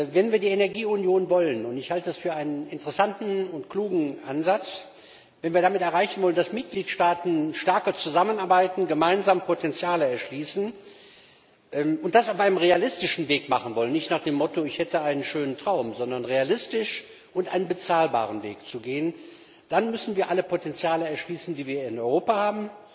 Wenn wir die Energieunion wollen und ich halte das für einen interessanten und klugen Ansatz und wenn wir damit erreichen wollen, dass Mitgliedstaaten stärker zusammenarbeiten, gemeinsam Potenziale erschließen und das auf einem realistischen Weg, nicht nach dem Motto Ich hätte da einen schönen Traum, sondern realistisch und auf bezahlbare Weise, dann müssen wir alle Potenziale erschließen, die wir in Europa haben,